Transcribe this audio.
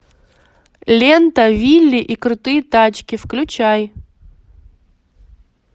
лента вилли и крутые тачки включай